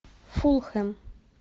фулхэм